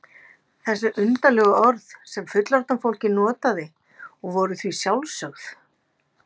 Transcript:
Þessi undarlegu orð sem fullorðna fólkið notaði og voru því sjálfsögð.